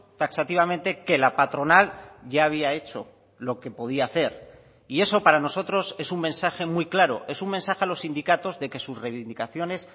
taxativamente que la patronal ya había hecho lo que podía hacer y eso para nosotros es un mensaje muy claro es un mensaje a los sindicatos de que sus reivindicaciones